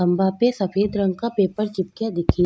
खम्भा पे सफ़ेद रंग का पेपर चिपकिया दिखे --